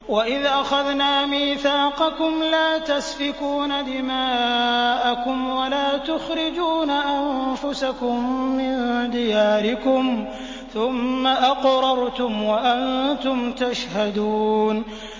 وَإِذْ أَخَذْنَا مِيثَاقَكُمْ لَا تَسْفِكُونَ دِمَاءَكُمْ وَلَا تُخْرِجُونَ أَنفُسَكُم مِّن دِيَارِكُمْ ثُمَّ أَقْرَرْتُمْ وَأَنتُمْ تَشْهَدُونَ